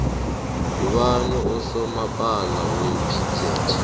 ngubani usomapala wepixate